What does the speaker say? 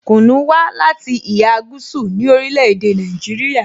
Kunu wa lati iha gúúsù ni orile-ede Naijiria.